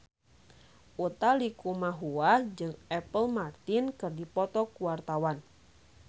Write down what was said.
Utha Likumahua jeung Apple Martin keur dipoto ku wartawan